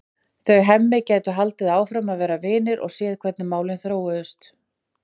Þau Hemmi gætu haldið áfram að vera vinir og séð hvernig málin þróuðust.